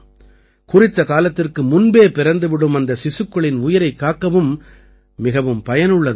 குறித்த காலத்திற்கு முன்பே பிறந்துவிடும் அந்த சிசுக்களின் உயிரைக் காக்க மிகவும் பயனுள்ளதாக இருக்கும்